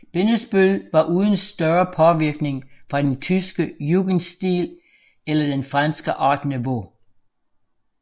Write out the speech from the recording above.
Bindesbøll var uden større påvirkning fra den tyske jugendstil eller den franske art nouveau